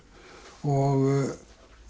og